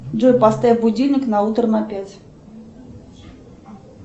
джой поставь будильник на утро на пять